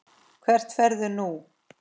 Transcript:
Hvert ferðu nú?